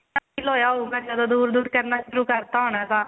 feel ਹੋਇਆ ਹੋਉਗਾ ਜਦੋਂ ਦੂਰ ਦੂਰ ਕਰਨਾ ਸ਼ੁਰੂ ਕਰਤਾ ਹੋਣਾ ਤਾਂ